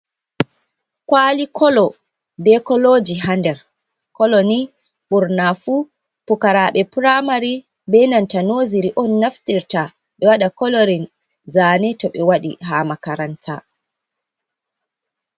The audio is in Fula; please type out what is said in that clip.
Kwali kolo be koloji ha nder, koloni ɓurna fu pukaraaɓe pramari be nanta noziri on naftirta ɓe waɗa kolorin zane to ɓe waɗi ha makaranta.